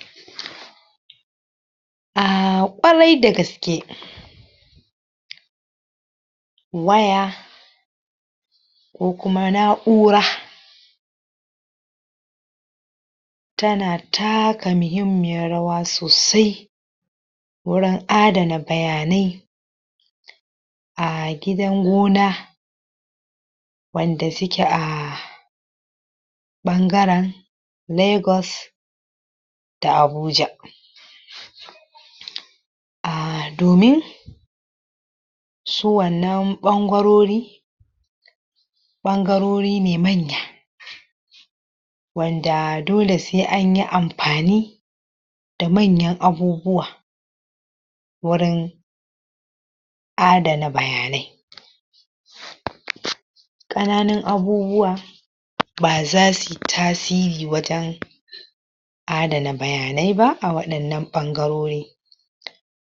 ? um ƙwarai dagaske? waya ko kuma na'ura tana taka muhimmiyar rawa sosai wurin adana bayanai a gidan gona wanda suke a ɓangaren Legos da Abuja?? um domin su wannan ɓangarori ɓangarori ne manya? wanda dole sai anyi ampani da manyan abubuwa wurin adana bayanai?? ƙananun abubuwa ba zasu yi tasiri wajen adana bayanai ba a waɗannan ɓangarori?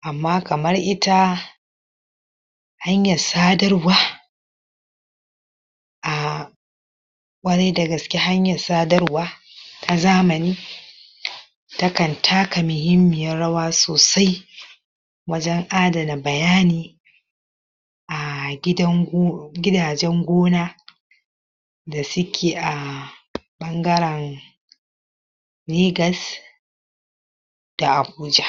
amma kamar ita hanyar sadarwa um ƙwarai dagaske hanyar sadarwa na zamani? ta kan taka muhimmiyan rawa sosai wajen adana bayani a gidan go gidajen gona da suke a? ɓangaren Legas da Abuja?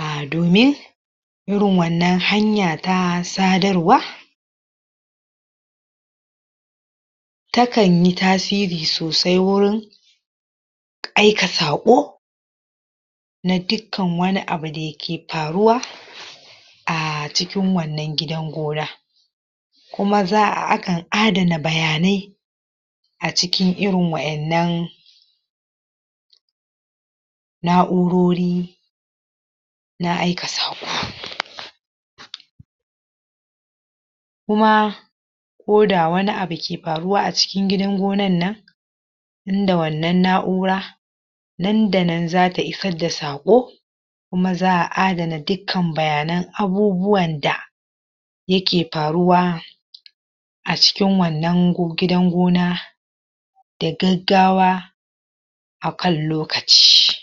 um domin irin wannan hanya ta sadarwa ta kan yi tasiri sosai wurin aika saƙo na dukkan wani abu da yake paruwa a cikin wannan gidan gona kuma za'a akan adana bayanai a cikin irin wa'ennan na'urori na aika saƙo? kuma koda wani abu ke paruwa a cikin gidan gonan nan in da wannan na'ura nan da nan zata isar da saƙo kuma za'a adana dukkan bayanan abubuwan da yake paruwa a cikin wannan go gidan gona da gaggawa akan lokaci